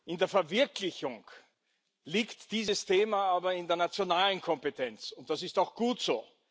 In der Verwirklichung liegt dieses Thema aber in der nationalen Kompetenz, und das ist auch gut so.